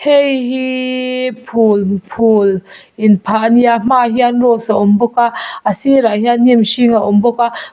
hei hi phul phul in phah a ni a a hmaah hian rose a awm bawk a a sir ah hian hnim hring a awm bawk a.